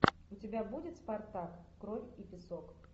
у тебя будет спартак кровь и песок